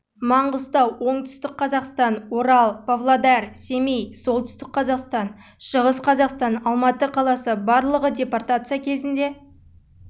маңғыстау оңтүстік қазақстан орал павлодар семей солтүстік қазақстан шығыс қазақстан алматы қаласы барлығы депортация кезінде